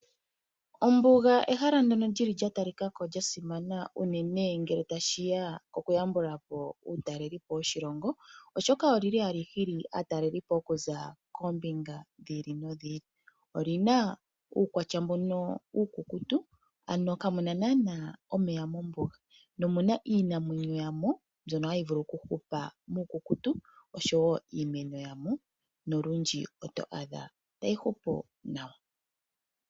Ombuga ehala ndyoka lyili lya talikako lya simana uunene ngele tashiya mokuyambula po uutalelipo woshilongo oshoka olyi li hali hili aatalelipo oku za koombinga dhili no dhili. Olina uukwatya mbono uukukutu ano kamuna nana omeya mombuga, nomuna iinamwenyo ya mo mbyoka tayi vulu okuhupa muukukutu oshowo iimeno ya mo, nolundji otwadha tayi hupu nawa.